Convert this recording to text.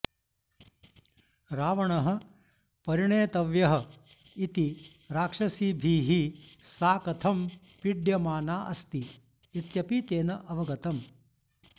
रावणः परिणेतव्यः इति राक्षसीभिः सा कथं पीड्यमाना अस्ति इत्यपि तेन अवगतम्